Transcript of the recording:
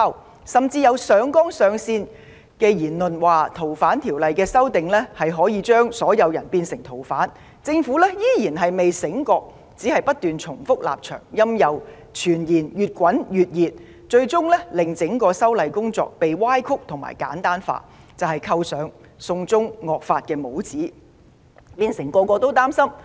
有論者甚至上綱上線，斷言《條例草案》可將所有人變成逃犯，政府對此依然未醒覺，只是不斷重複立場，任由傳言越炒越熱，最終令整個修例工作被扭曲及簡單化，扣上"送中惡法"的帽子，變成人人自危。